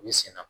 U bɛ sen na